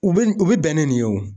U bi u bɛ bɛn ni nin ye wo.